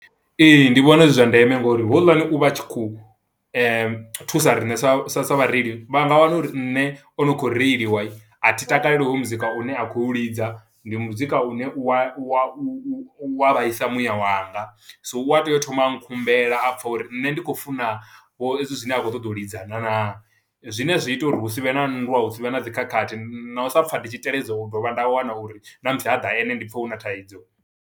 Ee, ndi vhona zwi zwa ndeme ngo uri houḽani u vha a tshi khou thusa riṋe sa sa sa vhareili, vha nga wana uri nṋe o no khou reiliwa, a thi takaleli hoyu muzika u ne a khou lidza. Ndi muzika une u wa, u wa, u u u wa vhaisa muya wanga, so u a tea u thoma a khumbela a pfa uri nṋe ndi khou funa vho ezwi zwine a khou ṱoḓa u lidza na naa? Zwine zwi ita uri hu si vhe na nndwa, hu si vhe na dzi khakhathi, na u sa pfa ndi tshi teledza u dovha nda wana uri na musi haḓa ene, ndi pfa huna thaidzo.